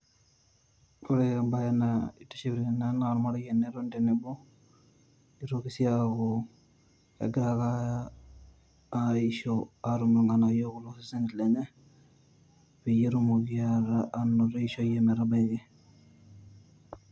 Ore embae naitiship tene naa ormarei tenetoni tenebo ,nitoki sii aaku egira ake aisho atum irnganayio looseseni lenye peyie petumoki anoto eishoi e metabaiki .